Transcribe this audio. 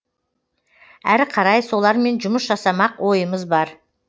әрі қарай солармен жұмыс жасамақ ойымыз бар